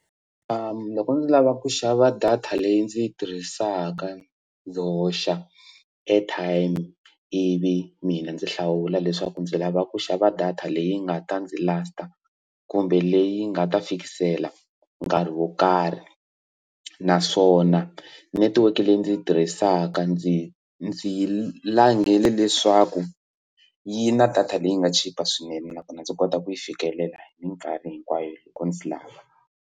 loko ndzi lava ku xava data leyi ndzi yi tirhisaka ndzi hoxa airtime i vi mina ndzi hlawula leswaku ndzi lava ku xava data leyi nga ta ndzi last kumbe leyi nga ta fikisela nkarhi wo karhi naswona netiweke leyi ndzi yi tirhisaka ndzi ndzi langele leswaku yi na data leyi nga chipa swinene nakona ndzi kota ku yi fikelela hi mikarhi hinkwayo loko ndzi lava.